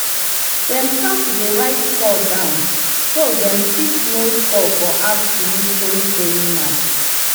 dem start to dey write score down so dey go fit know scores for afternoon stone throwing match